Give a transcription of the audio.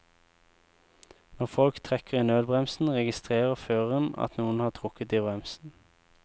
Når folk trekker i nødbremsen, registrerer føreren at noen har trukket i bremsen.